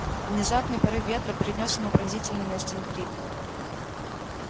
внезапный порыв ветра принёс ему пронзительный настин крик